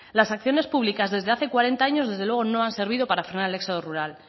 las acciones públicas desde hace cuarenta años desde luego no han servido para frenar el éxodo rural